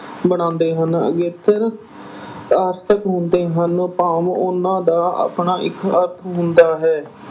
ਬਣਾਉਂਦੇ ਹਨ। ਅਗੇਤਰ ਆਰਥਿਕ ਹੁੰਦੇ ਹਨ ਭਾਵ ਉਨ੍ਹਾਂ ਦਾ ਆਪਣਾ ਇੱਕ ਅਰਥ ਹੁੰਦਾ ਹੈ।